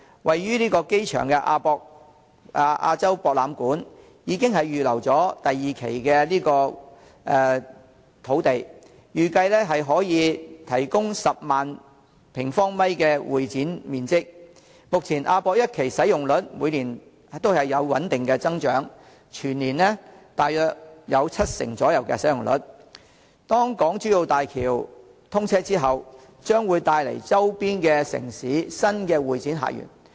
位於機場附近的亞洲國際博覽館，已經預留了第二期土地，預計可以提供10萬平方米的會展面積。目前亞博館一期的使用率每年也有穩定的增長，全年大約有七成使用量，當港珠澳大橋通車之後，將會帶來周邊城市新的會展客源。